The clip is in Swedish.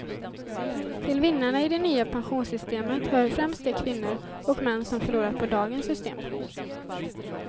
Till vinnarna i det nya pensionssystemet hör främst de kvinnor och män som förlorat på dagens system.